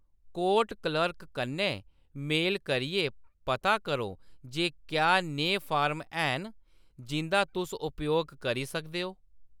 Court clerk कन्नै mail करियै पता करो जे क्या नेहे फार्म हैन जिंʼदा तुस उपयोग करी सकदे ओ।